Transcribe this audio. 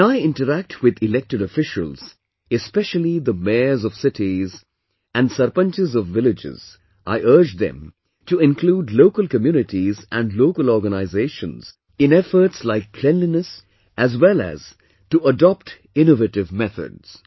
When I interact with Elected Officials, especially the mayors of cities and sarpanches of villages, I urge them to include Local Communities and Local Organizations in efforts like cleanliness as well as adopt innovative methods